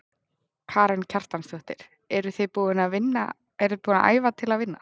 Karen Kjartansdóttir: Eruð þið búin að æfa til að vinna?